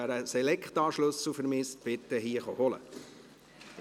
Wer einen Selecta-Schlüssel vermisst, bitte hier holen kommen.